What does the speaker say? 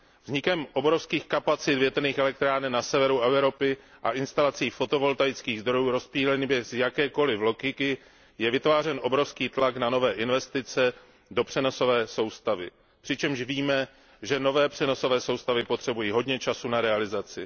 Vznikem obrovských kapacit větrných elektráren na severu Evropy a instalací fotovoltaických zdrojů rozptýlených bez jakékoliv logiky je vytvářen obrovský tlak na nové investice do přenosové soustavy. Přičemž víme, že nové přenosové soustavy potřebují hodně času na realizaci.